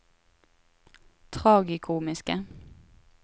tragikomiske